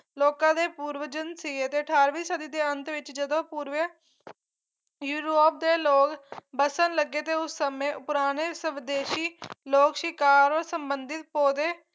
ਲੋਕਾਂ ਦੇ ਪੁਰਵਜਨ ਸੀਗੇ ਤੇ ਅਠਾਰਵੀਂ ਸਦੀ ਦੇ ਅੰਤ ਵਿੱਚ ਜਦੋਂ ਪੂਰਵਿਆ ਯੂਰੋਪ ਦੇ ਲੋਕ ਵਸਣ ਲੱਗੇ ਤੇ ਉਸ ਸਮੇਂ ਪੁਰਾਣੇ ਸਵਦੇਸ਼ੀ ਲੋਕ ਸ਼ਿਕਾਰ ਨਾਲ ਸੰਬੰਧਿਤ ਪੌਦੇ